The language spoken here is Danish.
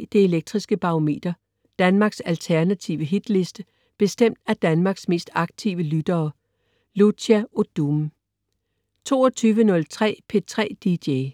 21.03 Det Elektriske Barometer. Danmarks alternative Hitliste bestemt af Danmarks mest aktive lyttere. Lucia Odoom 22.03 P3 DJ